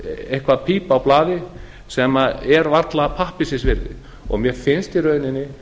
eitthvert píp á blaði sem er varla pappírsins virði og mér finnst í rauninni